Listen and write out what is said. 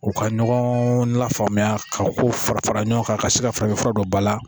U ka ɲɔgɔn lafaamuya ka kow fara fara ɲɔgɔn kan ka se ka farafin fura dɔ ba la